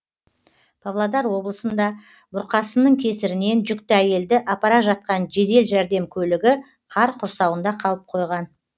павлодар облысында бұрқасынның кесірінен жүкті әйелді апара жатқан жедел жәрдем көлігі қар құрсауында қалып қойған